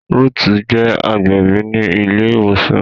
Ruth je agbẹbi ní ile ìwòsàn